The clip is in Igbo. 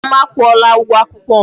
Nna m akwụola ụgwọ akwụkwọ m